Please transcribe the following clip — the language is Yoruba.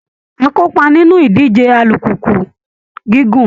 Á kópa nínú ìdíje alùpùpù gígùn